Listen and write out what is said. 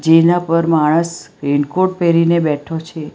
જેના પર માણસ રેનકોટ પેરીને બેઠો છે.